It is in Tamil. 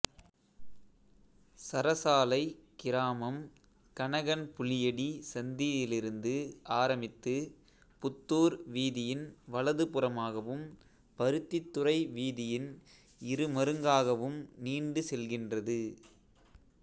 சரசாலை கிராமம் கனகன்புளியடி சந்தியிலிருந்து ஆரம்பித்து புத்தூர் வீதியின் வலது புறமாகவும் பருத்தித்துறை வீதியின் இருமருங்காகாவும் நீண்டு செல்கின்றது